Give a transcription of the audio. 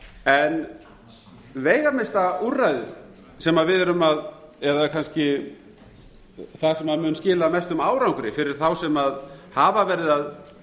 gjaldfellinga veigamesta úrræðið sem við erum að eða kannski það sem mun skila mestum árangri fyrir þá sem hafa verið að